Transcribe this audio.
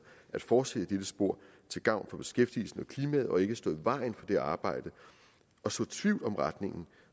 at fortsætte i dette spor til gavn for beskæftigelsen og klimaet og ikke stå i vejen for det arbejde og så tvivl om retningen